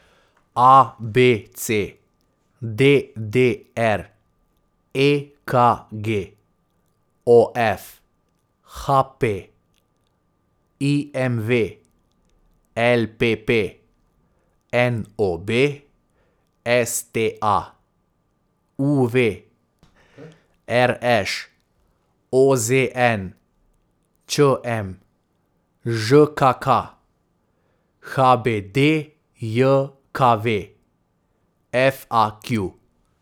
A B C; D D R; E K G; O F; H P; I M V; L P P; N O B; S T A; U V; R Š; O Z N; Č M; Ž K K; H B D J K V; F A Q.